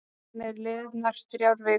Síðan eru liðnar þrjár vikur.